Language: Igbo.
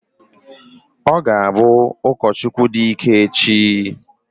Ọ ga-abụ ụkọchukwu dị ike echi.